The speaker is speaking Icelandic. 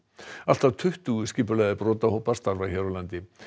allt að tuttugu skipulagðir brotahópar starfa hér á landi